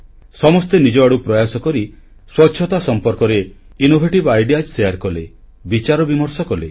ସମସ୍ତେ ନିଜଆଡ଼ୁ ପ୍ରୟାସ କରି ସ୍ୱଚ୍ଛତା ସମ୍ପର୍କରେ ସୃଜନାତ୍ମକ ଚିନ୍ତା ତଥା ଆଇଡିଇଏ ବଣ୍ଟନ କଲେ ବିଚାର ବିମର୍ଷ କଲେ